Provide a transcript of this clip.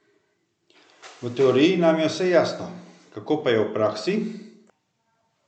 V teoriji nam je vse jasno, kako pa je v praksi?